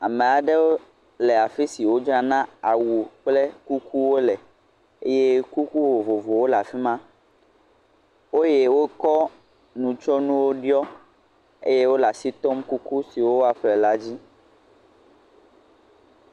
Amaɖe le afisi wo dzra na awu kple kukuwo le, eye kuku vovovowo le afima, eye wo kɔ nu tsyɔ nuwo ɖiɔ, eye wo le asi tɔm kuku si woa ƒle la dzi.